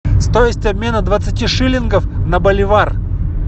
стоимость обмена двадцати шиллингов на боливар